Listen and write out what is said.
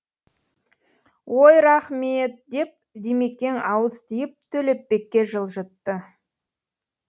ой рахмет деп димекең ауыз тиіп төлепбекке жылжытты